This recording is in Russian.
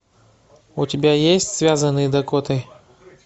у тебя есть связанные дакотой